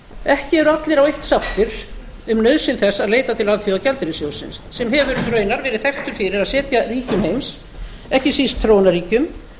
ekki eru allir á eitt sáttir um nauðsyn þess að leita til alþjóðagjaldeyrissjóðsins sem hefur raunar verið þekktur fyrir að setja ríkjum heims ekki síst þróunarríkjum